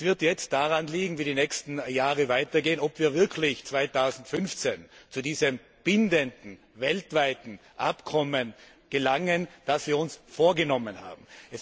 Es wird jetzt daran liegen, wie die nächsten Jahre weitergehen, ob wir wirklich 2015 zu diesem bindenden weltweiten Übereinkommen gelangen, das wir uns vorgenommen haben.